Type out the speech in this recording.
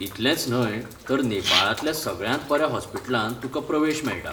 इतलेंच न्हय तर नेपाळांतल्या सगळ्यांत बऱ्या हॉस्पिटलांत तुकां प्रवेश मेळटा.